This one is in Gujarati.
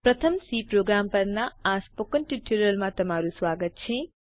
પ્રથમ સી પ્રોગ્રામ પરના સ્પોકન ટ્યુટોરીયલમાં તમારું સ્વાગત છે